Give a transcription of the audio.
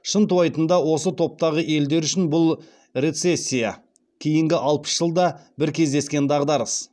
шынтуайтында осы топтағы елдер үшін бұл рецессия кейінгі алпыс жылда бір кездескен дағдарыс